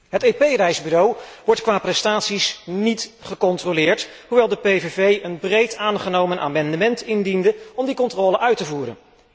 Het EP reisbureau wordt qua prestaties niet gecontroleerd, hoewel de PVV een breed aangenomen amendement indiende om die controle uit te voeren.